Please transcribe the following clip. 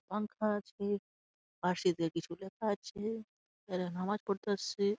পাংখা আছেপাশে দিয়ে কিছু লেখা আছে এরা নামাজ পড়তে আসছে।